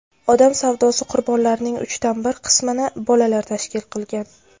odam savdosi qurbonlarining uchdan bir qismini bolalar tashkil qilgan.